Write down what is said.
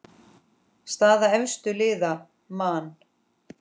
Staða efstu liða: Man.